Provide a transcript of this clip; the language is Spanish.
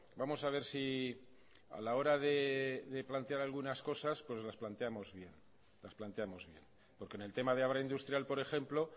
vamos a ver si a la hora de plantear algunas cosas las planteamos bien porque en el tema de abra industrial por ejemplo